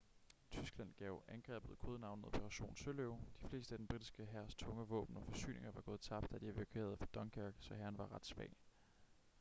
tyskland gav angrebet kodenavnet operation søløve de fleste af den britiske hærs tunge våben og forsyninger var gået tabt da de evakuerede fra dunkerque så hæren var ret svag